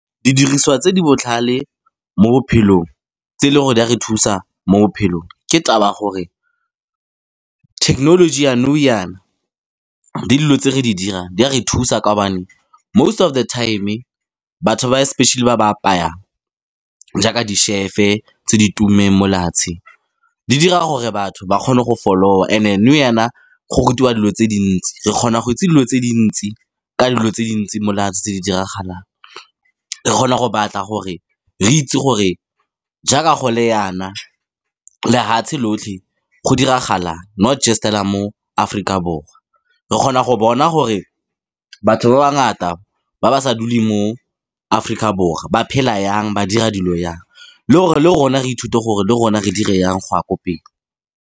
Didiriswa tse di botlhale mo bophelong, tse e leng gore di a re thusa mo bophelong. Ke taba gore thekenoloji ya nou jaana le dilo tse re di dirang, di a re thusa kaobane most of the time batho ba especially ba ba apayang jaaka di chef-e tse di tumileng molefatsheng. Di dira gore batho ba kgone go follow-a. E ne nou jaana go rutiwa dilo tse dintsi re kgona go itse dilo tse dintsi ka dilo tse dintsi tse di diragalang re kgona go batla gore re itse gore jaaka go le jaana, lehatshe lotlhe go diragala not just fela mo Aforika Borwa re kgona go bona gore batho ba ba bangata ba ba sa dule mo Aforika Borwa ba phela jang ba dira dilo jang, le le rona re ithute gore le rona re dire jang go ya ko pele.